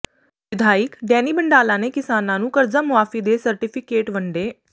ਵਿਧਾਇਕ ਡੈਨੀ ਬੰਡਾਲਾ ਨੇ ਕਿਸਾਨਾਂ ਨੂੰ ਕਰਜ਼ਾ ਮੁਆਫ਼ੀ ਦੇ ਸਰਟੀਫਿਕੇਟ ਵੰਡੇ